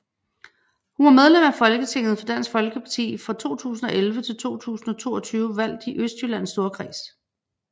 Hun var medlem af Folketinget for Dansk Folkeparti fra 2011 til 2022 valgt i Østjyllands Storkreds